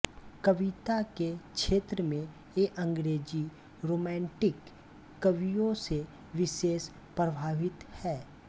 कविता के क्षेत्र में ये अंग्रेजी रोमैंटिक कवियों से विशेष प्रभावित हैं